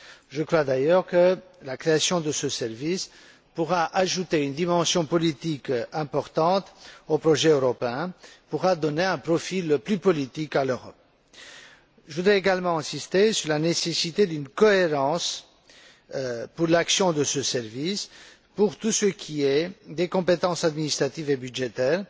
Je crois d'ailleurs que la création de ce service pourra ajouter une dimension politique importante au projet européen et donner un profil plus politique à l'Europe. Je voudrais également insister sur la nécessité de cohérence dans l'action de ce service pour tout ce qui concerne les compétences administratives et budgétaires